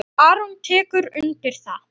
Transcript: Aron tekur undir það.